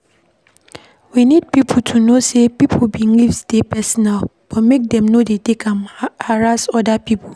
We need to know sey pipo beliefs dey personal but make dem no take am harass oda pipo